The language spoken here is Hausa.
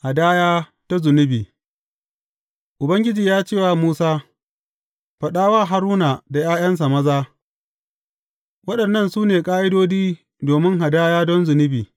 Hadaya ta zunubi Ubangiji ya ce wa Musa, Faɗa wa Haruna da ’ya’yansa maza, Waɗannan su ne ƙa’idodi domin hadaya don zunubi.